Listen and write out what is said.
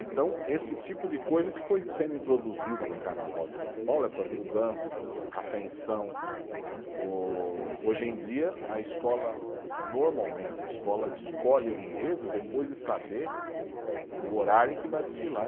Então, esse tipo de coisa que foi sendo introduzido no Carnaval de São Paulo, essas mudanças, a tensão, ô hoje em dia a escola, normalmente, a escola escolhe o enredo depois de saber o horário em que vai desfilar.